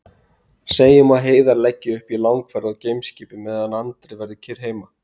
Segjum að Heiðar leggi upp í langferð á geimskipi meðan Andri verður kyrr heima.